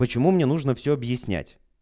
почему мне нужно все объяснять